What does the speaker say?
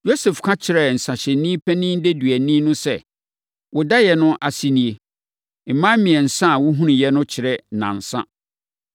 Yosef ka kyerɛɛ nsãhyɛfoɔ panin deduani no sɛ, “Wo daeɛ no ase nie: mman mmiɛnsa a wohunuiɛ no kyerɛ nnansa.